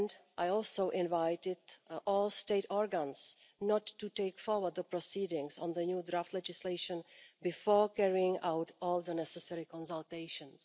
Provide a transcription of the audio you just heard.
I also invited all state organs not to take forward the proceedings on the new draft legislation before carrying out all the necessary consultations.